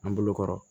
An bolokɔrɔ